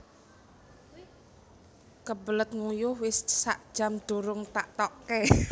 Kebelet nguyuh wis sak jam durung tak tokke